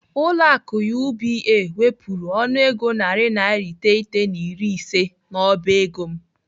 Ụlọ akụ UBA wepụrụ ọnụego naira narị iteghete na iri ise n'ọba ego m.